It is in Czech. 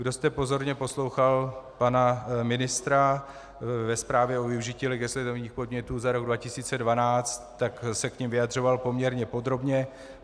Kdo jste pozorně poslouchal pana ministra ve zprávě o využití legislativních podnětů za rok 2012, tak se k nim vyjadřoval poměrně podrobně.